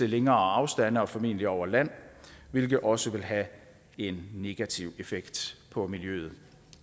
længere afstande og formentlig over land hvilket også vil have en negativ effekt på miljøet